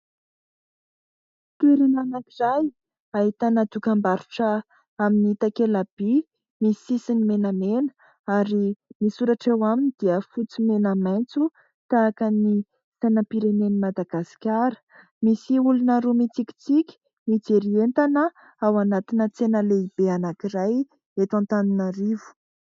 Toerana anankiray ahitana dokam-barotra amin'ny takelaby, misy sisiny menamena ary misy soratra eo aminy dia fotsy, mena, maitso tahaka ny sainam-pirenen'i Madagasikara ; misy olona roa mitsikitsiky mijery entana ao anatina tsena lehibe anankiray eto Antananarivo.